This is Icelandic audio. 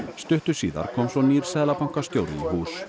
stuttu síðar kom svo nýr seðlabankastjóri í hús